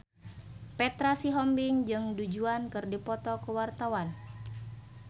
Petra Sihombing jeung Du Juan keur dipoto ku wartawan